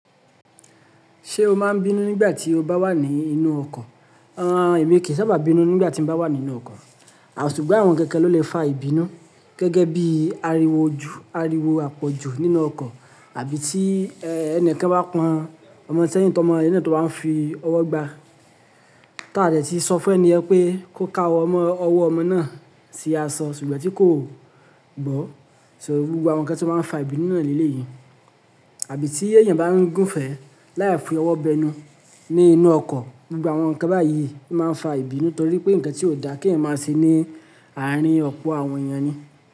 Ṣé o máa ń bínú nígbà tí o bá wà ní inú ọkọ̀? Emi kí ń sábà bínú nígbà tí mo bá wà nínú ọkọ̀. Sugbon awon nkankan ló lè fa ìbínú gẹ́gẹ́ bí ariwo oju--- àpọ̀jù nínú ọkọ̀ àbí tí ẹnìkan bá pọn ọmọ sẹ́yìn tó mọ ilé náà tó máa ń fi ọwọ́ gbá. Táà dẹ̀ tí sọ fún ẹni yen pé kó ka owo mo ---ọwọ́ ọmọ náà sí aṣọ, ṣùgbọ́n tí kò gbọ́. So gbogbo àwọn nǹkan tí ó máa ń fa ìbínú na ni eleyi Àbí tí èèyàn bá ń gùn fèẹ láyè fi ọwọ́ bẹnu ní inú ọkọ̀. Gbogbo àwọn nǹkan báyìí máa ń fa ìbínú torí pé ǹkan tí ò dá kí ẹ̀ máa ṣe ní àárín ọpo àwọn èèyàn ni.